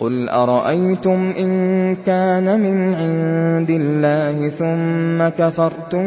قُلْ أَرَأَيْتُمْ إِن كَانَ مِنْ عِندِ اللَّهِ ثُمَّ كَفَرْتُم